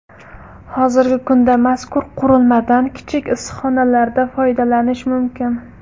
Hozirgi kunda mazkur qurilmadan kichik issiqxonalarda foydalanish mumkin.